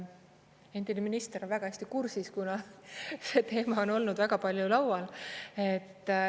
Endine minister on väga hästi kursis, kuna ma olen olnud väga palju laual.